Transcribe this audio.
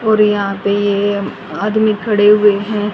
और यहां पे ये आदमी खड़े हुए हैं।